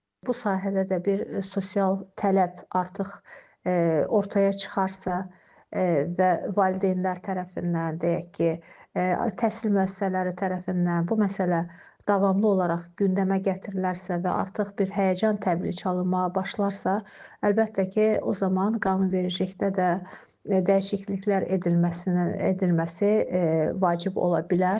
Bu sahədə də bir sosial tələb artıq ortaya çıxarsa və valideynlər tərəfindən, deyək ki, təhsil müəssisələri tərəfindən bu məsələ davamlı olaraq gündəmə gətirilərsə və artıq bir həyəcan təbili çalınmağa başlarsa, əlbəttə ki, o zaman qanunvericilikdə də dəyişikliklər edilməsi edilməsi vacib ola bilər.